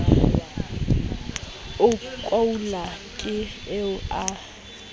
a koula ke eo a